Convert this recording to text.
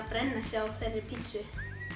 brenna sig á þeirri pizzu